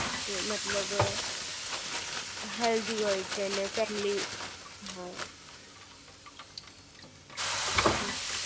okay મતલબ healthy હોય છે અને ફેમિલી હા હમ્મ